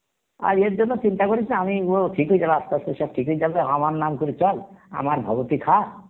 আর এর জন্য চিন্তা করিস না আমি ও ঠিক হয়ে যাবে আসতে আসতে সব ঠিক হয়ে যাবে আমার নাম করে চল আমার ভবতি খা